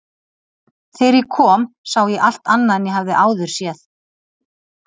Þegar ég kom sá ég allt annað en ég hafði áður séð.